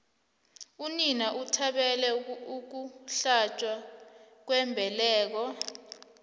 unina uthabele ukuhlatjwa kwembeleko